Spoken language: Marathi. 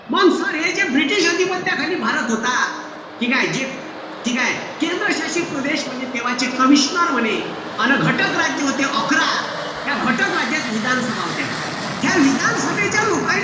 मंग sir हे जे british अधिपत्याखाली भारत होता. ठीकेय? ठीकेय? केंद्र शासित प्रदेश म्हणजे तेव्हाचे commissioner म्हणे अन घटक राज्य होते अकरा. या घटक राज्यात विधान सभा होत्या. ह्या विधान सभाईच्या लोकाईले,